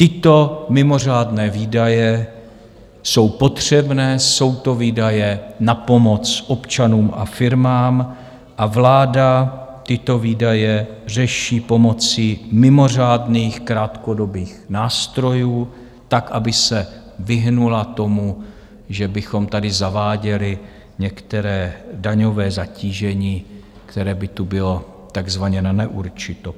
Tyto mimořádné výdaje jsou potřebné, jsou to výdaje na pomoc občanům a firmám, a vláda tyto výdaje řeší pomocí mimořádných krátkodobých nástrojů tak, aby se vyhnula tomu, že bychom tady zaváděli některé daňové zatížení, které by tu bylo takzvaně na neurčito.